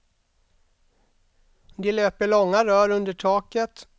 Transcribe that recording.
Det löper långa rör under taket.